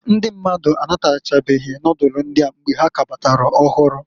Ndị mmadụ anabatachaghị nodulu ndịa mgbe ha k'kabatara ọhụrụ.